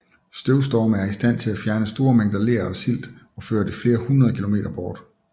Støvstorme er i stand til at fjerne store mængder ler og silt og føre det flere hundrede km bort